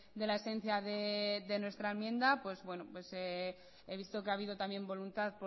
de la esencia de nuestra enmienda he visto que ha habido también voluntad